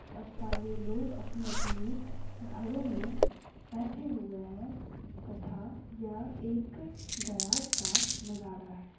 और सारे लोग अपने-अपने घरों में बैठे हुए हैं तथा यह एक गराज का नज़ारा है।